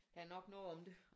Der er nok noget om det